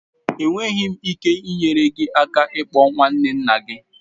Enweghị m ike inyere gị aka ịkpọ nwanne nna gị.